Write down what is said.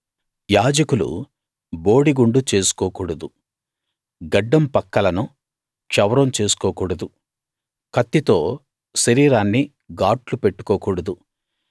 యాజకులు బోడిగుండు చేసుకోకూడదు గడ్డం పక్కలను క్షవరం చేసుకో కూడదు కత్తితో శరీరాన్ని గాట్లు పెట్టుకోకూడదు